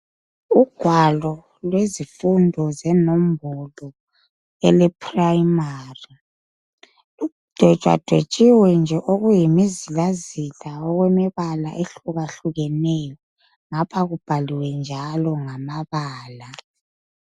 Ugwalo lwezifundo zenombolo eleprayimari, ludwetshwadwetshiwe nje okuyimizilazila okwemibala ehlukahlukaneyo ngapha kubhaliwe njalo ngamabala.